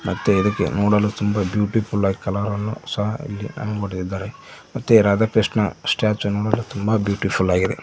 ಮತ್ತು ಇದಕ್ಕೆ ನೋಡಲು ತುಂಬ ಬ್ಯೂಟಿಫುಲ್ ಆಗಿ ಕಲರನ್ನು ಸಹ ಇಲ್ಲಿ ಮಾಡಿದ್ದಾರೆ ಮತ್ತೆ ರಾಧಾಕೃಷ್ಣ ಸ್ಟಾಚು ತುಂಬ ಬ್ಯೂಟಿಫುಲ್ ಆಗಿದೆ.